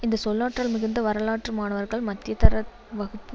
இந்த சொல்லாற்றல் மிகுந்த வரலாற்று மாணவர்கள் மத்தியதர வகுப்பு